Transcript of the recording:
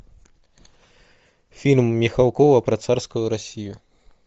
фильм михалкова про царскую россию